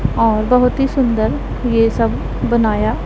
और बहुत ही सुंदर ये सब बनाया--